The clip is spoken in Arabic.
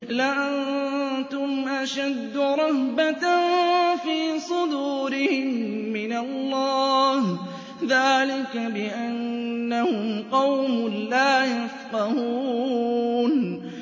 لَأَنتُمْ أَشَدُّ رَهْبَةً فِي صُدُورِهِم مِّنَ اللَّهِ ۚ ذَٰلِكَ بِأَنَّهُمْ قَوْمٌ لَّا يَفْقَهُونَ